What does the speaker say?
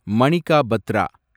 Manika Patra